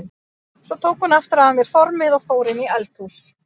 Svo tók hún aftur af mér formið og fór inn í eldhús.